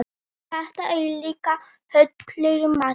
Þetta er líka hollur matur.